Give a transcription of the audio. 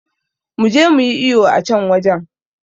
Muje muyi iyo a can wajen